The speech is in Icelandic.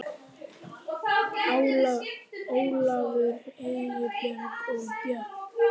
Ólafur, Eybjörg og börn.